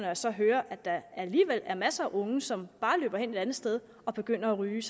jeg så hører at der alligevel er masser af unge som bare løber hen et andet sted og begynder at ryge